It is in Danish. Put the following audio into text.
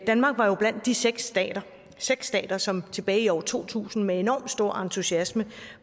danmark var jo blandt de seks stater seks stater som tilbage i år to tusind med enorm stor entusiasme